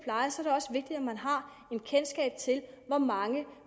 er man har kendskab til hvor mange